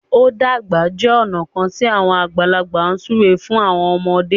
o dàgbà jẹ ọna kán ti awọn àgbàlagbà súré fún àwọn ọmọde.